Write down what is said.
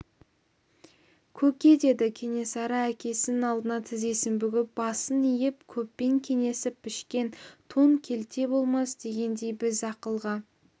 көке деді кенесары әкесінің алдына тізесін бүгіп басын иіп көппен кеңесіп пішкен тон келте болмас дегендей біз ақылға